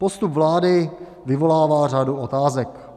Postup vlády vyvolává řadu otázek.